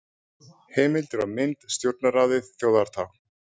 Heimildir og mynd: Stjórnarráðið Þjóðartákn.